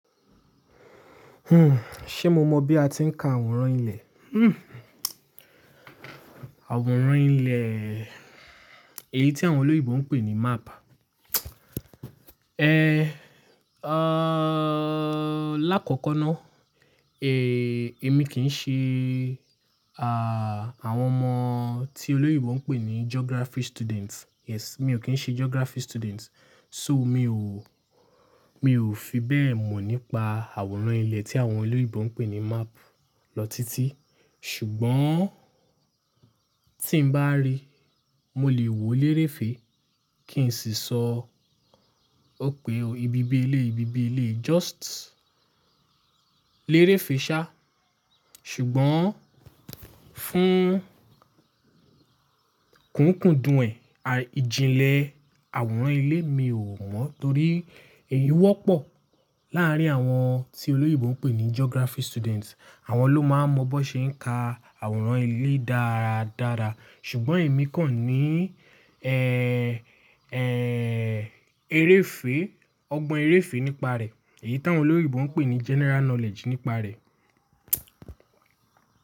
Ṣe mo mọ bí a ti ń ka àwòrán ilẹ̀? Àwòrán ilẹ̀, èyí tí àwọn olóyinbo ń pè ní map. L'ákọ́kọ́ ná, èmi kì í ṣe, àwọn ọmọ tí olóyinbo ń pè ní geography students. Yes, mi ò kì í ṣe geography student. So mi ò, mi ò fi bẹ́ẹ̀ mọ̀ nípa àwòrán ilẹ̀ tí àwọn olóyèbo ń pè ní map lọ títí. Ṣùgbọ́n tí n bá rí, mo lè wo lérèfé kí n sì sọ òpè o ibi bí ẹ lé, ibi bí ẹ lé, just lérèfé sá. Ṣùgbọ́n fún kùnkùndùn ẹ̀, ìjìnlẹ̀ àwòrán ilé mi ò mọ̀ torí èyí wọ́pọ̀ láàrín àwọn tí olóyèbo ń pè ní geography students. Àwọn ló máa ń mọ bó ṣe ń ka àwòrán ilé dáradára. Ṣùgbọ́n èmi kàn ní, eréfé, ọgbọ́n eréfé nípa rẹ̀. Èyí táwọn olóyinbo ń pè ní general knowledge nípa rẹ̀.